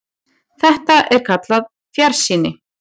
Þetta er kallað fjarsýni.